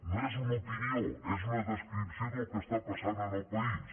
no és una opinió és una descripció del que està passant en el país